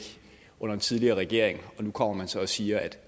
under den tidligere regering og nu kommer man så siger at